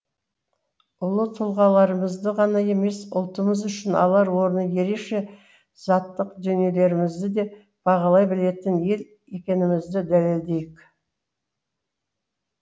ұлы тұлғаларымызды ғана емес ұлтымыз үшін алар орны ерекше заттық дүниелерімізді де бағалай білетін ел екенімізді дәлелдейік